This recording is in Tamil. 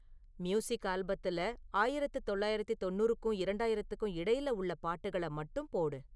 மியூசிக் ஆல்பத்தில ஆயிரத்தி தொள்ளாயிரத்தி தொண்ணூறுக்கும் இரண்டாயிரத்துக்கும் இடையில உள்ள பாட்டுகள மட்டும் போடு